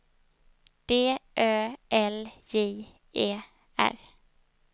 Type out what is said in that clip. D Ö L J E R